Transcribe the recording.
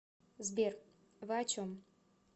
сбер вы о чем